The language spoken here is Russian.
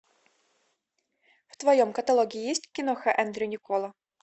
в твоем каталоге есть киноха эндрю никкола